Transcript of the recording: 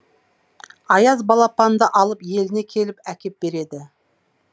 аяз балапанды алып еліне келіп әкеп береді